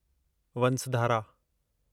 Vansadhara